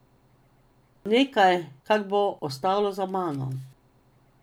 Nekaj, kar bo ostalo za mano.